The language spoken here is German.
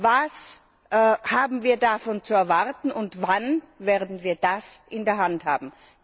Was haben wir davon zu erwarten und wann werden wir das in der Hand haben?